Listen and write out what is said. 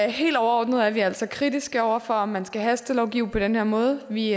helt overordnet er vi altså kritiske over for om man skal hastelovgive på den her måde vi